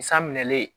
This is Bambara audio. San minɛlen